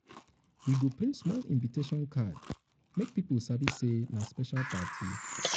we go print small invitation card make people sabi say na special party.